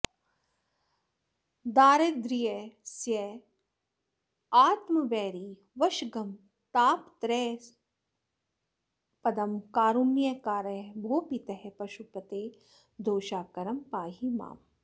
दारिद्रयास्पदमात्मवैरिवशगं तापत्रयस्यास्पदं कारुण्याकर भोः पितः पशुपते दोषाकरं पाहि माम्